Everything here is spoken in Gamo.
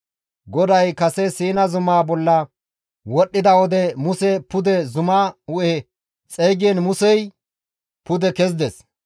GODAY kase Siina zumaa bolla wodhdhida wode Muse pude zumaa hu7e xeygiin Musey pude kezides.